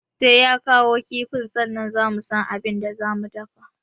Sai ya kawo kifin sannan za mu san abin da za mu dafa